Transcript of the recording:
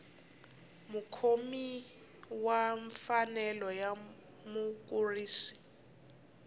mukhomi wa mfanelo ya mukurisi